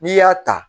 N'i y'a ta